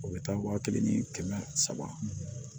U bɛ taa wa kelen ni kɛmɛ saba